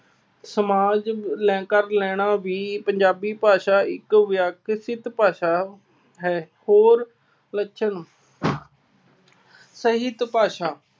ਸਮਾਜ ਲੈ ਕਰ ਲੈਣਾ ਵੀ ਪੰਜਾਬੀ ਭਾਸ਼ਾ ਇੱਕ ਵਿਅਕਤਿਕ ਭਾਸ਼ਾ ਹੈ। ਹੋਰ ਲੱਛਣ- ਸਾਹਿਤ ਭਾਸ਼ਾ